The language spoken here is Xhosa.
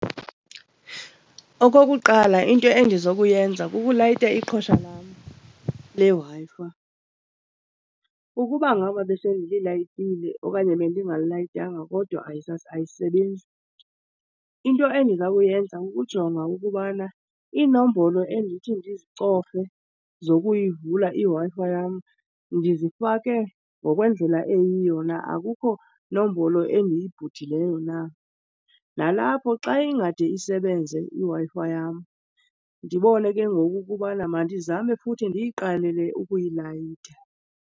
Okokuqala, into endizokuyenza kukulayita iqhosha lam leWi-Fi. Ukuba ngaba besendililayitile okanye bendingalilayitanga kodwa ayisebenzi, into endiza kuyenza kukujonga ukubana iinombolo endithi ndizicofe zokuyivula iWi-Fi yam ndizifake ngokwendlela eyiyo na, akukho nombolo endiyibhudileyo na. Nalapho xa ingade isebenze Wi-Fi yam ndibone ke ngoku ukubana mandizame futhi ndiyiqalele ukuyilayita.